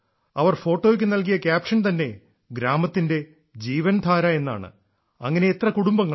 അവര് ഫോട്ടോയ്ക്ക് നൽകിയ ക്യാപ്ഷൻ തന്നെ ഗ്രാമത്തിന്റെ ജീവൻ ധാര എന്നാണ് അങ്ങനെ എത്ര കുടുംബങ്ങളാണ്